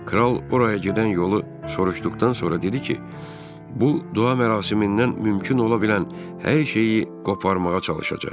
Kral oraya gedən yolu soruşduqdan sonra dedi ki, bu dua mərasimindən mümkün ola bilən hər şeyi qoparmağa çalışacaq.